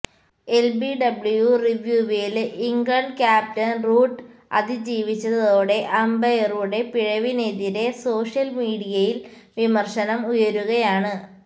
LBW റീവ്യൂവില് England captain Root അതിജീവിച്ചതോടെ അമ്പയറുടെ പിഴവിനെതിരെ സോഷ്യല് മീഡിയയില് വിമര്ശനം ഉയരുകയാണ്